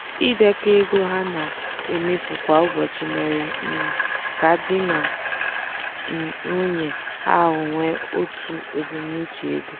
ịdekọ ego ha na-emefu kwa ụbọchị mere um ka di na nwunye ahụ nwee otu ebumnuche ego.